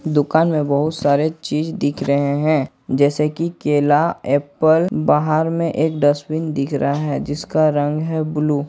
दुकान में बहुत सारे चीज दिख रहे हैं जैसे की केला एप्पल बाहर में एक डस्टबिन दिख रहा है जिसका रंग है ब्लू ।